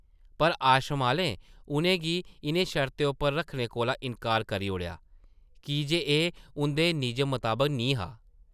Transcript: पर आश्रम आह्लें उʼनें गी इʼनें शर्तें उप्पर रक्खने कोला इन्कार करी ओड़ेआ की जे एह् उंʼदे निजम मताबक निं हा ।